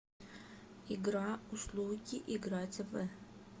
игра услуги играть в